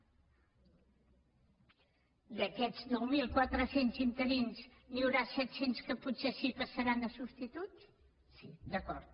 que d’aquests nou mil quatre cents interins n’hi haurà set cents que potser sí que passaran a substituts sí d’acord